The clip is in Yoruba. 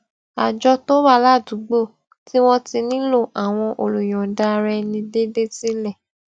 àjọ tó wà ládùúgbò tí wón ti nílò àwọn olùyòǹda ara ẹni déédéé sílè